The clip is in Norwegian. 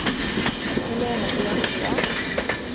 Helene Bjørnstad